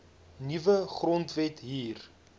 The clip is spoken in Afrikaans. nuwe grondwet hier